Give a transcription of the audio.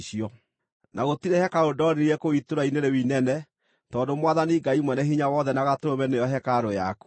Na gũtirĩ hekarũ ndonire kũu itũũra-inĩ rĩu inene, tondũ Mwathani Ngai Mwene-Hinya-Wothe na Gatũrũme nĩo hekarũ yakuo.